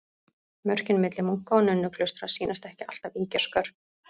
Mörkin milli munka- og nunnuklaustra sýnast ekki alltaf ýkja skörp.